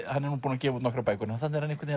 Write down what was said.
hann hefur gefið út nokkrar bækur þarna er hann einhvern